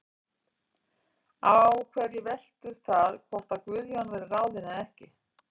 Á hverju veltur það hvort að Guðjón verði ráðinn eða ekki?